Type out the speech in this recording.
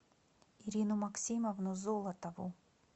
ирину максимовну золотову